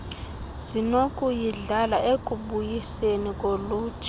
zinokuyidlala ekubuyiseni kolutsha